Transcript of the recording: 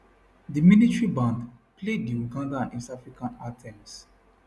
di military band play di ugandan and east african anthems